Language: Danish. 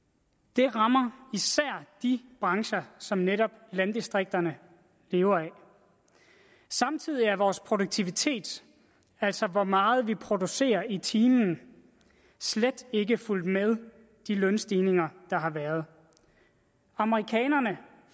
det rammer især de brancher som netop landdistrikterne lever af samtidig er vores produktivitet altså hvor meget vi producerer i timen slet ikke fulgt med de lønstigninger der har været amerikanerne